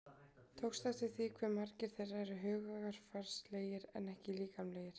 Tókstu eftir því hve margir þeirra eru hugarfarslegir en ekki líkamlegir?